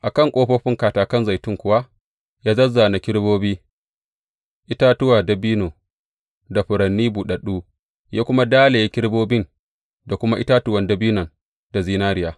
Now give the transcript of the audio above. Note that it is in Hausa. A kan ƙofofin katakan zaitun kuwa ya zāzzāna kerubobi, itatuwa dabino, da furanni buɗaɗɗu, ya kuma dalaye kerubobin, da kuma itatuwan dabinon da zinariya.